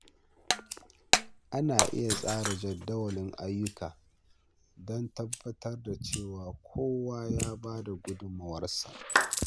Ana iya tsara jadawalin ayyuka don tabbatar da cewa kowa ya bada gudunmawa.